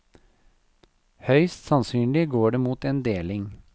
Høyst sannsynlig går det mot en deling.